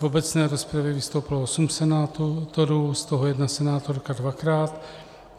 V obecné rozpravě vystoupilo osm senátorů, z toho jedna senátorka dvakrát.